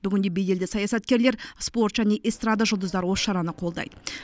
бүгінде беделді саясаткерлер спорт және эстрада жұлдыздары осы шараны қолдайды